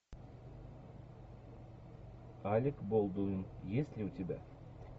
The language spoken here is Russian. алек болдуин есть ли у тебя